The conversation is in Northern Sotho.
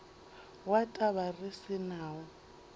wa taba re se nawo